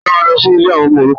Ta ló máa lọ sí ilé àwọn ọmọ òrukàn?